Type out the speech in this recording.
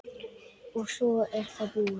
og svo er það búið.